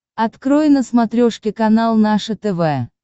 открой на смотрешке канал наше тв